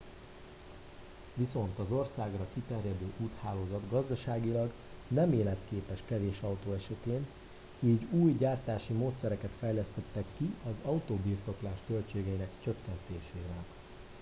viszont az országra kiterjedő úthálózat gazdaságilag nem életképes kevés autó esetén így új gyártási módszereket fejlesztettek ki az autóbirtoklás költségeinek csökkentésére